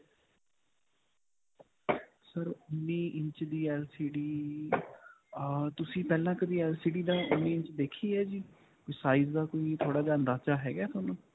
sir, ਉਨ੍ਨੀਂ inch ਦੀ LCD ਅਅ ਤੁਸੀਂ ਪਹਿਲਾਂ ਕਦੀ LCD ਦਾ ਉਨ੍ਨੀਂ ਇੰਚ ਦੇਖੀ ਹੈ ਜੀ size ਦਾ ਕੋਈ ਥੋੜਾ ਜਿਹਾ ਅੰਦਾਜ਼ਾ ਹੈਗਾ ਤੁਹਾਨੂੰ.